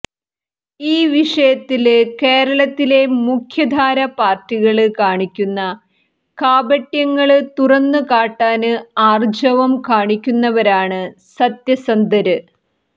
ഈ വിഷയത്തില് കേരളത്തിലെ മുഖ്യധാര പാര്ട്ടികള് കാണിക്കുന്ന കാപട്യങ്ങള് തുറന്നുകാട്ടാന് ആര്ജവം കാണിക്കുന്നവരാണ് സത്യസന്ധര്